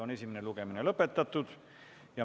Esimene lugemine on lõpetatud.